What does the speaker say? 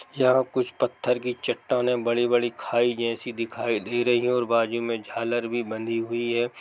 यहाँ कुछ पत्थर की चट्टानें बड़ी बड़ी खाई जैसी दिखाई दे रही है और बाजू में झालर भी बंधी हुई है।